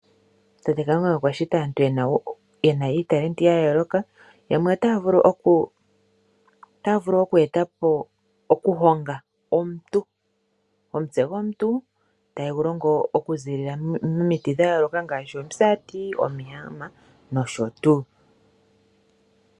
Tate Kalunga okwa shita aantu yena uunongo wa yooloka. Yamwe otaya vulu oku honga omutse gomuntu . Taye gu longo momiti dha yooloka ngaashi omisati, omihama nosho tuu.